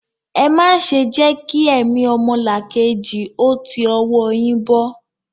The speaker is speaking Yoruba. Ẹ má ṣe jẹ́ kí ẹ̀mí ọmọlàkejì ó ti ọwọ́ ọ yín bọ́!